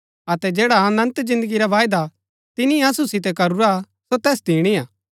अतै जैडा अनन्त जिन्दगी रा बायदा तिनी असु सितै करूरा सो तैस दिणी हा